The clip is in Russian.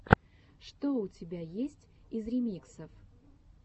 что у тебя есть из ремиксов